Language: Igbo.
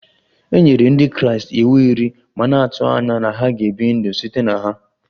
E nyere Ndị Kraịst iwu iri ma na-atụ anya na ha ga-ebi ndụ site na ha